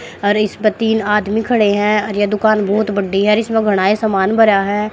और इस प तीन आदमी खड़े हैं और यह दुकान बहुत बड्डी है और इसमें घना ही समान भरा है।